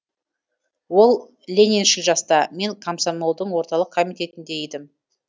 ол лениншіл жаста мен комсомолдың орталық комитетінде едім